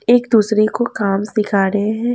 एक दूसरे को काम सिखा रहे हैं।